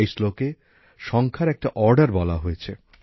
এই শ্লোকে সংখ্যার একটা অর্ডার বলা রয়েছে